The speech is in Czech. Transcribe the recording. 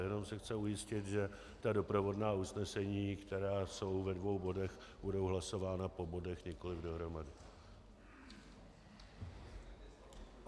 Jenom se chci ujistit, že ta doprovodná usnesení, která jsou ve dvou bodech, budou hlasována po bodech, nikoli dohromady.